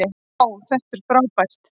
vá þetta er frábært